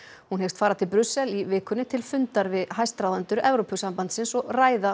hún hyggst fara til Brussel í vikunni til fundar við hæstráðendur Evrópusambandsins og ræða